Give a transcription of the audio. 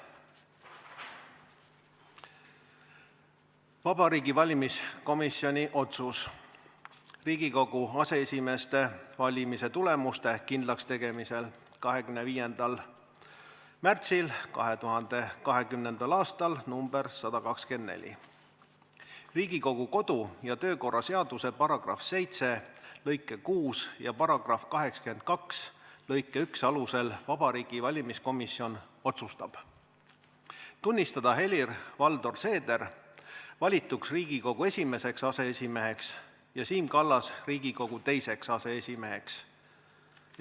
Vabariigi Valimiskomisjoni otsus Riigikogu aseesimeeste valimise tulemuste kindlakstegemise kohta 25. märtsil 2020. aastal nr 124: "Riigikogu kodu- ja töökorra seaduse § 7 lõike 6 ja § 82 lõike 1 alusel Vabariigi Valimiskomisjon otsustab: Tunnistada Helir-Valdor Seeder valituks Riigikogu esimeseks aseesimeheks ja Siim Kallas Riigikogu teiseks aseesimeheks.